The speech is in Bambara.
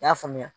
N y'a faamuya